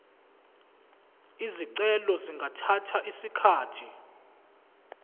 izicelo zingathatha isikhathi